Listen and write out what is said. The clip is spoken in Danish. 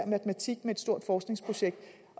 matematik med et stort forskningsprojekt